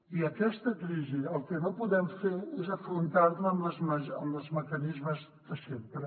i aquesta crisi el que no podem fer és afrontar la amb els mecanismes de sempre